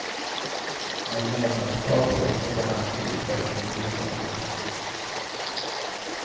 Men medlemskap är ingen garanti för inflytande.